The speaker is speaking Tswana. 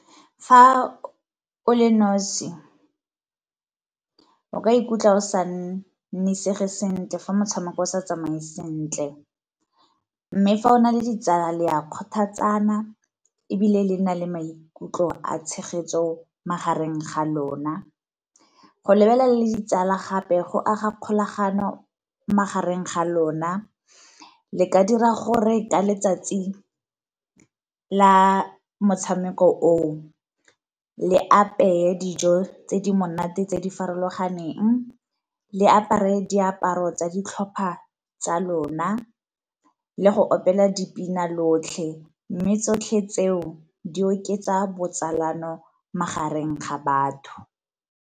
Fa o le nosi, o ka ikutlwa o sa nnisege sentle fa motshameko o sa tsamaye sentle. Mme fa o na le ditsala le ya kgothatsana ebile le na le maikutlo a tshegetso magareng ga lona. Go lebelela le ditsala gape go aga kgolagano magareng ga lona le ka dira gore ka letsatsi la motshameko o o le apeye dijo tse di monate tse di farologaneng, le apare diaparo tsa ditlhopha tsa lona, le go opela dipina lotlhe. Mme tsotlhe tseo di oketsa botsalano magareng ga batho.